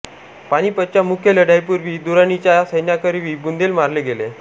पानिपतच्या मुख्य लढाईपूर्वी दुराणीच्या सैन्याकरवी बुंदेले मारले गेले